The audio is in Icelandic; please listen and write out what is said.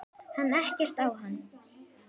Kann ekkert á hann.